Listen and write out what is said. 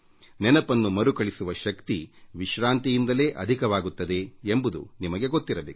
ನೆನಪನ್ನು ಮರುಕಳಿಸುವ ಶಕ್ತಿ ನಿಮ್ಮ ನಿರುಮ್ಮಳತೆಯಿಂದ ಅಧಿಕವಾಗುತ್ತದೆ ಎಂಬುದು ನಿಮಗೆ ಗೊತ್ತಿರಬೇಕು